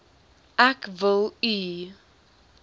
ek wil u